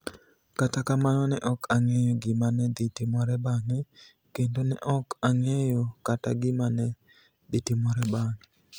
Kata kamano, ni e ok anig'eyo gima ni e dhi timore banig'e, kenido ni e ok onig'eyo kata gima ni e dhi timore banig'e.